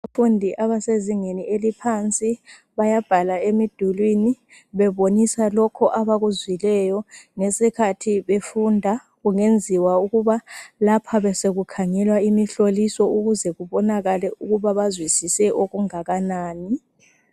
Abafundi abasezingeni eliphansi bayabhala emidulini bebonisa lokhu abakuzwileyo ngesikhathi befunda .Kungenziwa ukuba lapha besekukhangelwa imihloliso ukuze kubonakale ukuba bazwisise okungakanani .